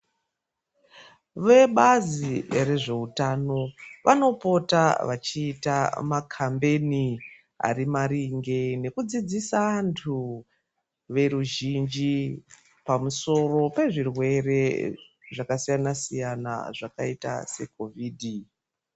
Vebazi rezveutano vanopota vachiita makambeni arimaringe nekudzidzisa antu veruzhinji pamusoro pezvirwere zvakasiyanasiyana zvakaita seKovhidhi.